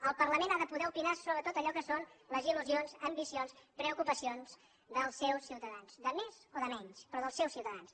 el parlament ha de poder opinar sobre tot allò que són les il·lusions ambicions preocupacions dels seus ciutadans de més o de menys però dels seus ciutadans